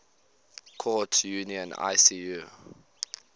courts union icu